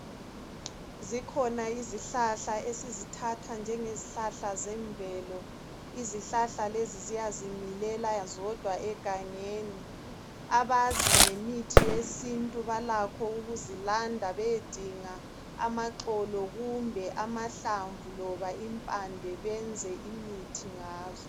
Zikhona izihlahla esizithatha njengezihlahla zemvelo. Izihlahla lezi ziyazimilela zodwa egangeni. Abazi ngemithi yesintu balakho ukuzilanda beyedinga amaxolo kumbe amahlamvu loba impande benze imithi ngazo.